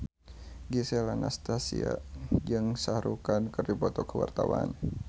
Gisel Anastasia jeung Shah Rukh Khan keur dipoto ku wartawan